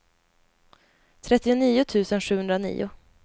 trettionio tusen sjuhundranio